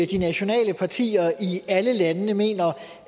de nationale partier i alle landene mener